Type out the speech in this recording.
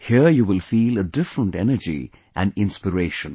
Here you will feel a different energy and inspiration